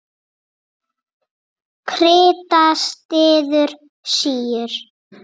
Krita styður síur.